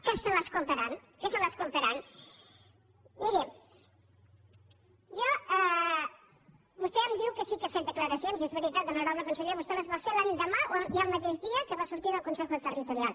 que se l’escoltaran que se l’escoltaran miri vostè em diu que sí que ha fet declaracions i és veritat honorable conseller vostè les va fer l’endemà i el mateix dia que va sortir del consejo interterritorial